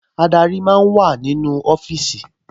Adarí máa ń wà nínú ọfíìsì